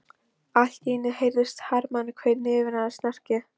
Allt í einu heyrðist harmakvein yfirgnæfa snarkið.